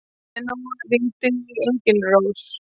Leóna, hringdu í Engilrós.